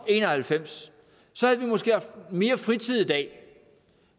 en og halvfems så havde vi måske haft mere fritid i dag